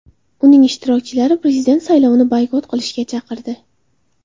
Uning ishtirokchilari prezident saylovini boykot qilishga chaqirdi.